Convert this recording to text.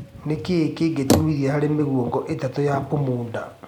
nĩ kĩĩ kĩngĩtũmithia harĩ mĩgũongo ĩtatu ya burmuda